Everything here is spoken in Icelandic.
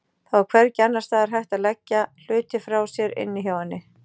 Það var hvergi annars staðar hægt að leggja hluti frá sér inni hjá henni.